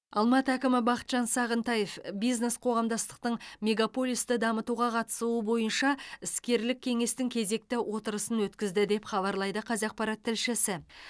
алматы әкімі бақытжан сағынтаев бизнес қоғамдастықтың мегаполисті дамытуға қатысуы бойынша іскерлік кеңестің кезекті отырысын өткізді деп хабарлайды қазақпарат тілшісі